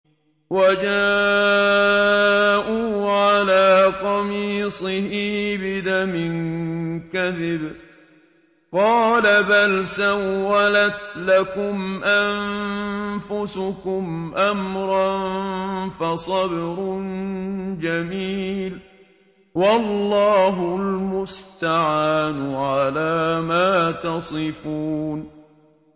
وَجَاءُوا عَلَىٰ قَمِيصِهِ بِدَمٍ كَذِبٍ ۚ قَالَ بَلْ سَوَّلَتْ لَكُمْ أَنفُسُكُمْ أَمْرًا ۖ فَصَبْرٌ جَمِيلٌ ۖ وَاللَّهُ الْمُسْتَعَانُ عَلَىٰ مَا تَصِفُونَ